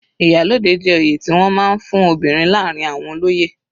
Iyalode jẹ́ oyè tí wọ́n máa ń fún obìnrin láàrin àwọn olóyè.